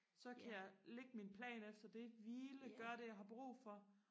så kan jeg lægge min plan efter det hvile gøre det jeg har brug for